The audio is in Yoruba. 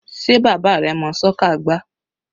Sé bàbá rẹ mọ́ soccer gbá?